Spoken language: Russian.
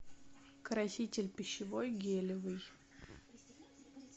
краситель пищевой гелевый